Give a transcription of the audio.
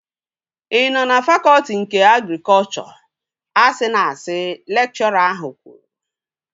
Ị nọ na fakọtị nke agrikọchọ. Asịna asị! Lekchọra ahụ kwuru